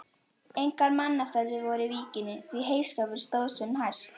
Engar mannaferðir voru í víkinni, því heyskapur stóð sem hæst.